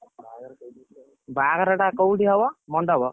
ବାହା ଘର ବାହାଘର ଟା କୋଉଠି ହବ ମଣ୍ଡପ।